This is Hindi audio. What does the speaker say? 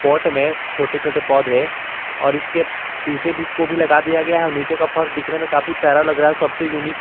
पॉट में छोटे छोटे पौधे और इसके शीशे को भी को भी लगा दिया गया है नीचे का फर्श दिखने में काफी प्यारा लग रहा है सबसे यूनिक --